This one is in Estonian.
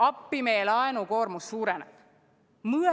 Appi, meie laenukoormus suureneb!